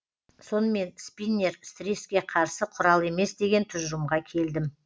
сонымен спиннер стресске қарсы құрал емес деген тұжырымға келдім